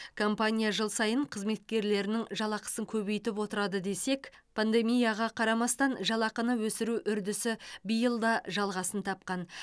компания жыл сайын қызметкерлерінің жалақысын көбейтіп отырады десек пандемияға қарамастан жалақыны өсіру үрдісі биыл да жалғасын тапқан